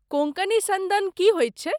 कोंकणी सन्दन की होइत छैक?